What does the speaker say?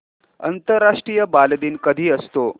आंतरराष्ट्रीय बालदिन कधी असतो